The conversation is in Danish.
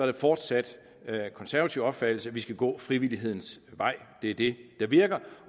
det fortsat konservativ opfattelse at vi skal gå frivillighedens vej det er det der virker